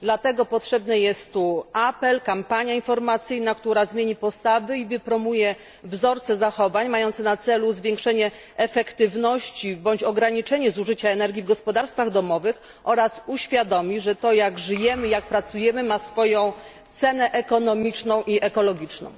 Dlatego potrzebny jest tu apel, kampania informacyjna, która zmieni postawy i wypromuje wzorce zachowań mające na celu zwiększenie efektywności bądź ograniczenie zużycia energii w gospodarstwach domowych oraz uświadomi, ze to jak żyjemy, jak pracujemy ma swoją cenę ekonomiczną i ekologiczną.